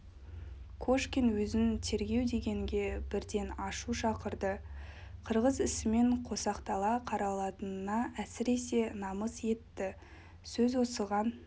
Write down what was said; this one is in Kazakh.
кошкин өзін тергеу дегенге бірден ашу шақырды қырғыз ісімен қосақтала қаралатынына әсіресе намыс етті сөз осыған